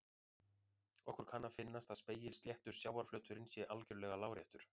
Okkur kann að finnast að spegilsléttur sjávarflöturinn sé algjörlega láréttur.